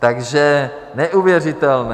Takže neuvěřitelné.